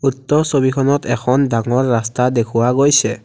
উক্ত ছবিখনত এখন ডাঙৰ ৰাস্তা দেখুওৱা গৈছে।